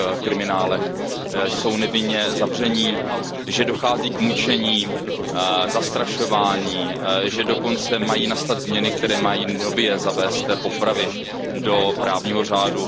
kriminálech jsou nevinně zavření, že dochází k mučení, zastrašování, že dokonce mají nastat změny, které mají nově zavést popravy do právního řádu.